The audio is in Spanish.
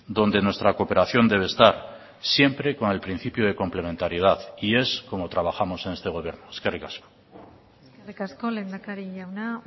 donde nuestra cooperación debe estar siempre con el principio de complementariedad y es como trabajamos en este gobierno eskerrik asko eskerrik asko lehendakari jauna